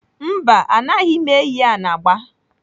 Mba, anaghị m eyi anagba.